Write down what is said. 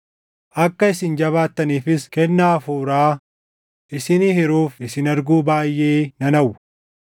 Akka isin jabaattaniifis kennaa hafuuraa isinii hiruuf isin arguu baayʼee nan hawwa;